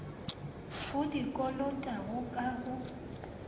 o di kolotago ka go